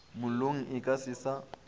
mollong e ka se sa